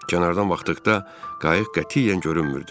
Kənardan baxdıqda qayıq qətiyyən görünmürdü.